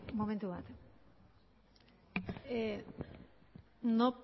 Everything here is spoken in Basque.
momentu bat no